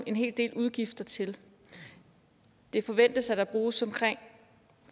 en hel del udgifter til det forventes at der bruges omkring